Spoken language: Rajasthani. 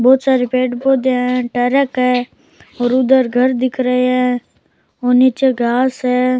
बहुत सारे पेड़ पौधे है ट्रक है और उधर घर दिख रहे है और नीचे घास है।